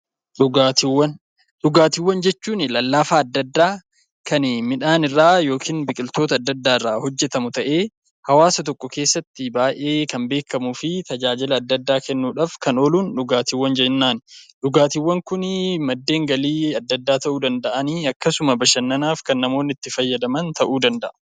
Dhugaatiiwwan jechuun lallaafaa adda addaa kan midhaan irraa yookiin biqiloota adda addaa irraa hojjatamu ta'ee hawaasa tokko keessatti kan baay'ee beekamuu fi tajaajila adda addaa kennuudhaaf kan ooluun dhugaatii jennaan. Dhugaatiiwwan Kun maddeen galii adda addaa ta'uu danda'anii akkasuma bashannanaaf kan namoonni itti fayyadaman ta'uu danda'a.